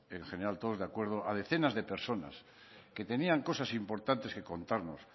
en general todos de acuerdo a decenas de personas que tenían cosas importantes que contarnos